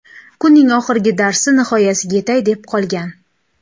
Kunning oxirgi darsi nihoyasiga yetay deb qolgan.